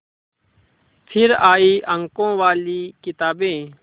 फिर आई अंकों वाली किताबें